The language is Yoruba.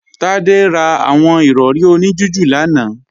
Tádé ra àwọn Ìrọ̀rí oní jújù lánàá